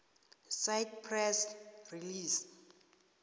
cite press release